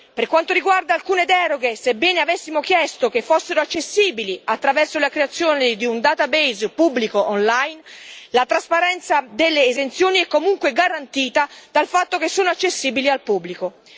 Per quanto riguarda alcune deroghe, sebbene avessimo chiesto che fossero accessibili, attraverso la creazione di un database pubblico online, la trasparenza delle esenzioni è comunque garantita dalla loro accessibilità al pubblico.